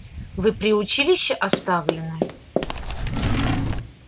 вы при училище оставлены